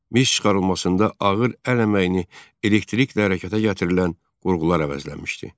Mis çıxarılmasında ağır əl əməyini elektrikdə hərəkətə gətirilən qurğular əvəzləmişdi.